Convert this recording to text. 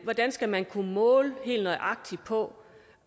hvordan skal man kunne måle helt nøjagtigt på